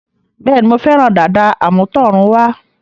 Bẹ́ẹ̀ni, Mo fẹ́ràn dàda àmútọ̀runwá